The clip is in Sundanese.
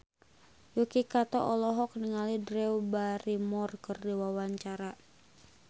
Yuki Kato olohok ningali Drew Barrymore keur diwawancara